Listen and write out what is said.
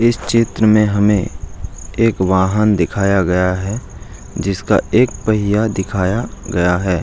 इस चित्र में हमें एक वाहन दिखाया गया है जिसका एक पहिया दिखाया गया है।